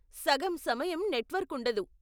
సగం సమయం నెట్వర్క్ ఉండదు.